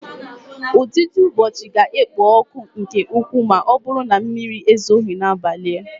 Ụdidiụbọọchi ga-ekpo ọkụ nke ukwuu ma ọ bụrụ na mmiri ezoghị n'abalị.